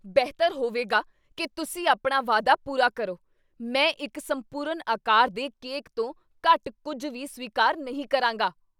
ਬਿਹਤਰ ਹੋਵੇਗਾ ਕੀ ਤੁਸੀਂ ਆਪਣਾ ਵਾਅਦਾ ਪੂਰਾ ਕਰੋ। ਮੈਂ ਇੱਕ ਸੰਪੂਰਨ ਆਕਾਰ ਦੇ ਕੇਕ ਤੋਂ ਘੱਟ ਕੁੱਝ ਵੀ ਸਵੀਕਾਰ ਨਹੀਂ ਕਰਾਂਗਾ।